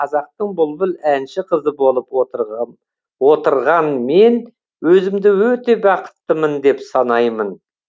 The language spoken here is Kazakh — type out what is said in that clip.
қазақтың бұлбұл әнші қызы болып отырғам отырған мен өзімді өте бақыттымын деп санаймын